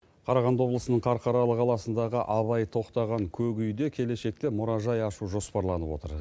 қарағанды облысының қарқаралы қаласындағы абай тоқтаған көк үйде келешекте мұражай ашу жоспарланып отыр